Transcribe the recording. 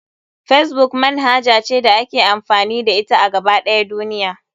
Facebook manhaja ce da ake amfani da ita a gaba ɗaya duniya.